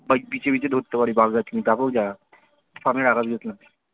ওই বিছে ফিছে ধরতে পারবি বাগদা চিংড়ী